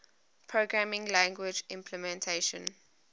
programming language implementation